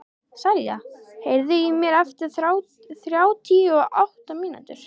Selja, heyrðu í mér eftir þrjátíu og átta mínútur.